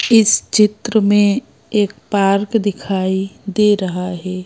इस चित्र में एक पार्क दिखाई दे रहा है।